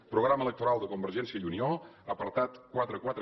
programa electoral de convergència i unió apartat quaranta quatre